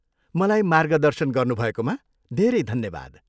मलाई मार्गदर्शन गर्नुभएकोमा धेरै धन्यवाद।